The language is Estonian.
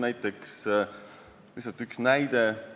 Toon lihtsalt ühe näite.